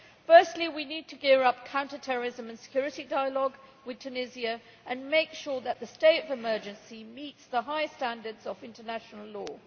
Firstly, we need to gear up counter terrorism and security dialogue with Tunisia and make sure that the state of emergency meets the high standards of international law.